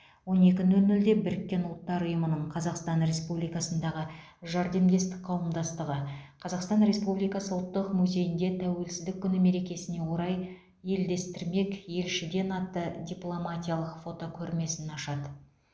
он екі нөл нөлде біріккен ұлттар ұйымының қазақстан республикасындағы жәрдемдестік қауымдастығы қазақстан республикасы ұлттық музейінде тәуелсіздік күні мерекесіне орай елдестірмек елшіден атты дипломатиялық фотокөрмесін ашады